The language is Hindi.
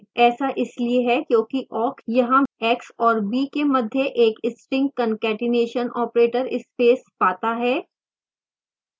ऐसा इसलिए है क्योंकि awk यहाँ x और b के मध्य एक string concatenation operator space पाता है